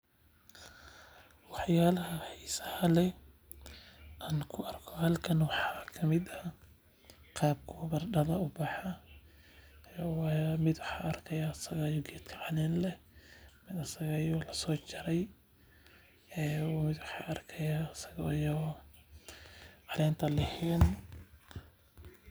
Wax yaabaha xiisaha leh aan ku arki haayo meeshan waxaa kamid ah qaabka ubaxa ubaxo mid asaga oo caleen leh mid asaga oo lasoo jaray mid asaga oo caleenta leheen.